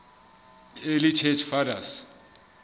early church fathers